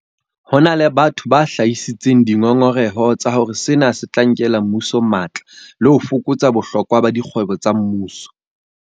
Ho na le batho ba hlahisitseng dingongoreho tsa hore sena se tla nkela mmuso matla le ho fokotsa bohlokwa ba dikgwebo tsa mmuso.